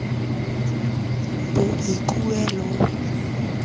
boikuelo